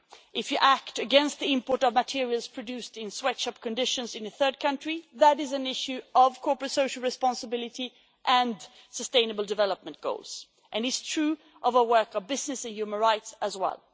If you act against the import of materials produced in sweatshop conditions in a third country, that is an issue of corporate social responsibility and sustainable development goals, and it's true of our work on business and human rights as well.